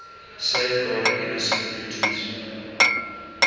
safeguarding innocent mutants